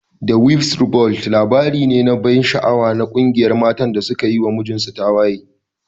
"The wives revolt" labari ne mai ban sha'awa na ƙungiyar matan da suka yi wa mijinta tawaye.